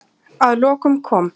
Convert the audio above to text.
Að lokum kom